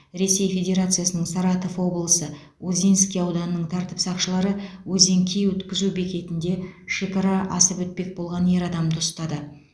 ресей федерациясының саратов облысы озинский ауданының тәртіп сақшылары озинки өткізу бекетінде шекара асып өтпек болған ер адамды ұстады